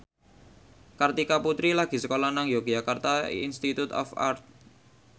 Kartika Putri lagi sekolah nang Yogyakarta Institute of Art